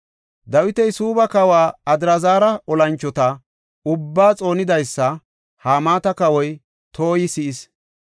Dawiti Suubba kawa Adraazara olanchota ubbaa xoonidaysa Hamaata kawoy Toyi si7is.